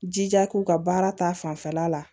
Jija k'u ka baara ta fanfɛla la